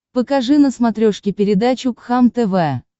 покажи на смотрешке передачу кхлм тв